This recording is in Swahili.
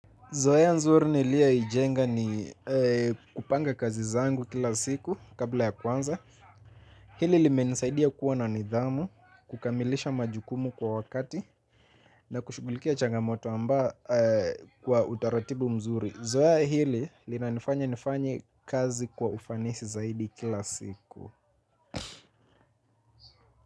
Zoea nzuri nilioijenga ni kupanga kazi zangu kila siku kabla ya kwanza. Hili limenisaidia kuwa na nidhamu, kukamilisha majukumu kwa wakati na kushugulikia changamoto amba kwa utaratibu mzuri Zoeya hili linanifanya nifanye kazi kwa ufanisi zaidi kila siku.